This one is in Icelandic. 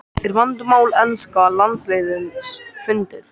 Er vandamál enska landsliðsins fundið?